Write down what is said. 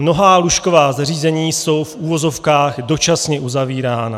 Mnohá lůžková zařízení jsou v uvozovkách dočasně uzavírána.